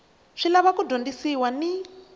swi lava ku dyondzisiwa ni